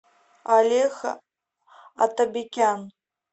алехо атабекян